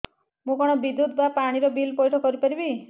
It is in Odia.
ମୁ କଣ ବିଦ୍ୟୁତ ବା ପାଣି ର ବିଲ ପଇଠ କରି ପାରିବି